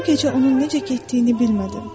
Bu gecə onun necə getdiyini bilmədim.